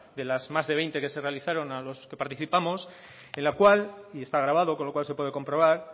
de las más de veinte que se realizaron a los que participamos en la cual y está grabado con lo cual se puede comprobar